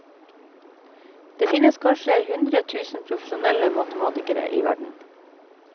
Det finnes kanskje hundre tusen profesjonelle matematikere i verden.